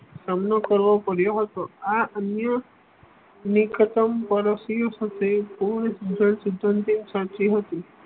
સામનો કરવો પડ્યો હતો આ અન્ય